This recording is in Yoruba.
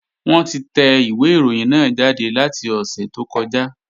Wọ́n ti tẹ ìwé ìròyìn náà jáde láti ọ̀sẹ̀ tó kọjá